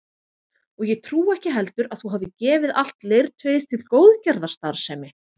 Og ég trúi ekki heldur að þú hafir gefið allt leirtauið til góðgerðarstarfsemi